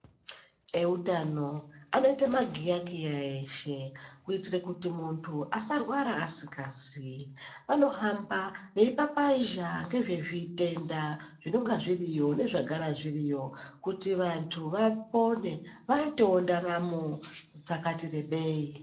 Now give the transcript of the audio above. Eutano anoita magiyakiya eshe kuitira kuti muntu asarwara asingaziii, vanohamba veipapazha ngezvezvitenda zvinonga zviriyo nezvagara zviriyo kuti vantu vapone vaitewo ndaramo dzakati rebei.